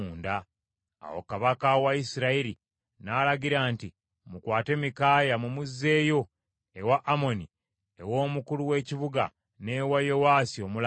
Awo kabaka wa Isirayiri n’alagira nti, “Mukwate Mikaaya mumuzzeeyo ewa Amoni ew’omukulu w’ekibuga n’ewa Yowaasi omulangira,